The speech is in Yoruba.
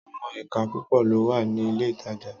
Àwon èka púpò ló wà ní ilé ìtajà